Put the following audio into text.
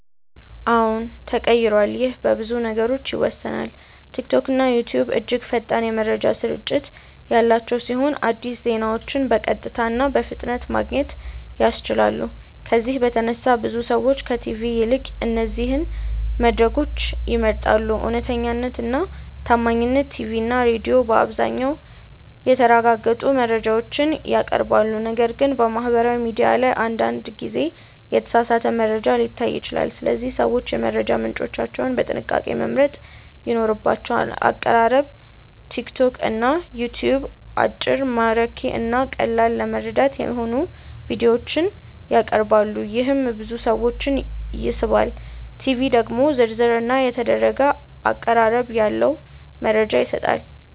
አዎን ተቀይሯል ይህ በብዙ ነገሮች ይወሰናል። ቲክቶክና ዩትዩብ እጅግ ፈጣን የመረጃ ስርጭት ያላቸው ሲሆን አዲስ ዜናዎችን በቀጥታ እና በፍጥነት ማግኘት ያስችላሉ። ከዚህ በተነሳ ብዙ ሰዎች ከቲቪ ይልቅ እነዚህን መድረኮች ይመርጣሉ። እውነተኛነት እና ታማኝነት ቲቪ እና ሬዲዮ በአብዛኛው የተረጋገጡ መረጃዎችን ያቀርባሉ፣ ነገር ግን በማህበራዊ ሚዲያ ላይ አንዳንድ ጊዜ የተሳሳተ መረጃ ሊታይ ይችላል። ስለዚህ ሰዎች የመረጃ ምንጮቻቸውን በጥንቃቄ መምረጥ ይኖርባቸዋል። አቀራረብ ቲክቶክ እና ዩትዩብ አጭር፣ ማራኪ እና ቀላል ለመረዳት የሚሆኑ ቪዲዮዎችን ያቀርባሉ፣ ይህም ብዙ ሰዎችን ይስባል። ቲቪ ደግሞ ዝርዝር እና የተደረገ አቀራረብ ያለው መረጃ ይሰጣል።